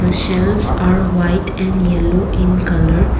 shelves are white and yellow in colour.